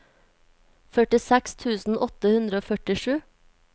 førtiseks tusen åtte hundre og førtisju